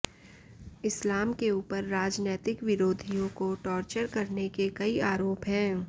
इस्लाम के ऊपर राजनैतिक विरोधियों को टॉर्चर करने के कई आरोप हैं